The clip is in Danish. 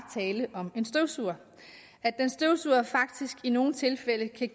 tale om en støvsuger og at den støvsuger faktisk i nogle tilfælde kan